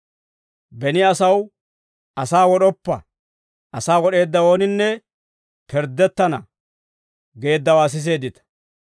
«Beni asaw, ‹Asaa wod'oppa; asaa wod'eedda ooninne pirddettana› geeddawaa siseeddita.